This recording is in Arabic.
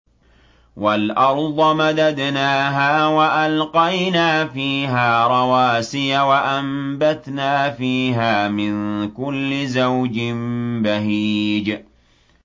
وَالْأَرْضَ مَدَدْنَاهَا وَأَلْقَيْنَا فِيهَا رَوَاسِيَ وَأَنبَتْنَا فِيهَا مِن كُلِّ زَوْجٍ بَهِيجٍ